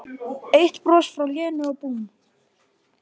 Eitt bros frá Lenu og búmm